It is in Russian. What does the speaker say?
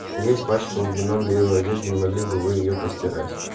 я испачкал вином белую одежду не могли бы вы ее постирать